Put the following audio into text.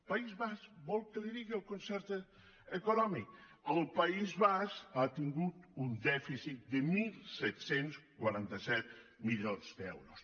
país basc vol que li digui el concert econòmic el país basc ha tingut un dèficit de disset quaranta set milions d’euros